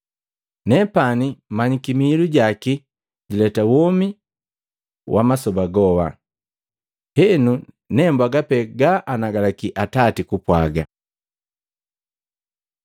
Nepani manyiki miilu jaki jileta womi wama soba goka. Henu, nembwaga pee ga anagalaki Atati kugapwaga.”